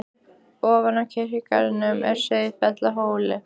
Ofan við kirkjugarðinn á Sauðafelli er hóll.